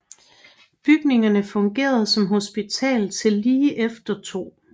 Bygningerne fungerede som hospital til lige efter 2